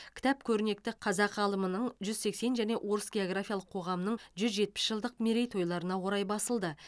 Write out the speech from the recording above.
кітап көрнекті қазақ ғалымының жүз сексен және орыс географиялық қоғамының жүз жетпіс жылдық мерейтойларына орай басылды